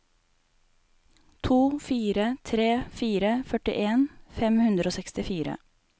to fire tre fire førtien fem hundre og sekstifire